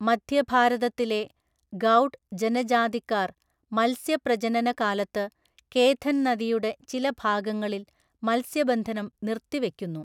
മധ്യഭാരതത്തിലെ ഗൗഡ് ജനജാതിക്കാര് മത്സ്യപ്രജനന കാലത്ത് കേഥന്‍ നദിയുടെ ചില ഭാഗങ്ങളില് മത്സ്യബന്ധനം നിര്‍ത്തി വയ്ക്കുന്നു.